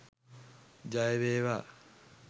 ජය වේවා